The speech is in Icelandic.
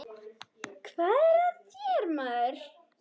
Hvað er að þér, maður?